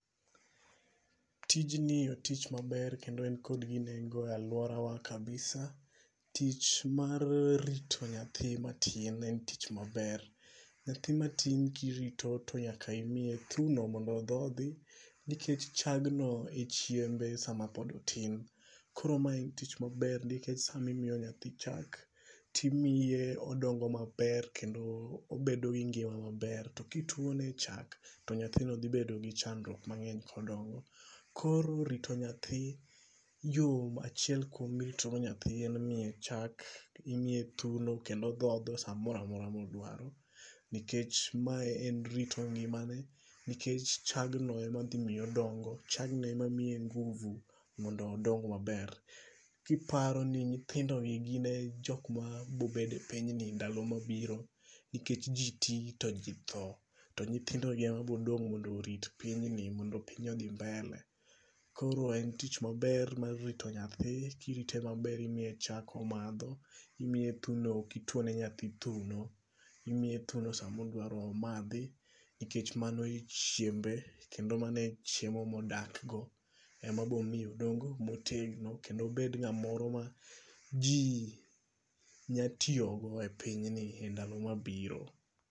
Tijni otich maber kendo en kod nengo e aluora wa kabisa. Tich mar rito nyathi matin en tich maber. Nyathi matin kirito to nyaka imiye thino mondo odhodhi nikech chagno e chiembe sama pod otin. Koro ma en tich maber nikech sami miyo nyathi chak timiye odongo maber kendo obedo gi ngima maber. To kituone chak to nyathino dhi bedo gi chandruok mang'eny kodongo. Koro rito nyathi yom achiel kuom mirito go nyathi en miye chak, imiye thuno kendo odhodho samoro amora modwaro. Nikech ma en rito ngimane. Nikech chagno e ma dhimiye odongo. Chagno em mamiyo nguvu mondo odong maber. Kiparo ninyithindogi gine jok mabobedo e piny ni ndalo mabiro. Nikech ji ti to ji tho. To nyithindo gi oma bodong' mondo orit pinyni mondo piny ni odhi mbele. Koro en tich maber mar rito nyathi. Kirite maber imiye chak omadho. Imiye thuno. Ok ituon nyathi thuno. Imiye thuno samodwaro omadhi. Nikech mano e chiembe. Kendo mano e chiemo modak go. E ma bomi odongo motegno. Kendo obed ng'amoro ma ji nyatiyogo e piny ni e ndalo mabiro.